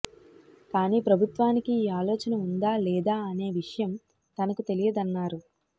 కాని ప్రభుత్వానికి ఈ ఆలోచన ఉందాలేదా అనే విషయం తనకు తెలియదన్నారు